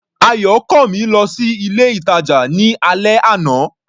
Ayọ̀kànmí lọ sí ilé-ìtàjà ní alẹ́ àná.